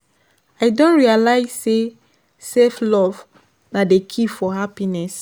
I don realize say self-love na di key for happiness.